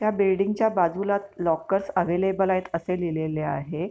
त्या बिल्डिंग च्या बाजूला लॉकर्स अव्हेलेबल असे लिहिलेले आहे.